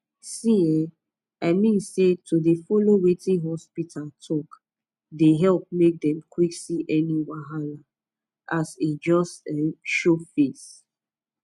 see eh i mean say to dey follow wetin hospita talk dey epp make dem quck see any wahala as e just um show face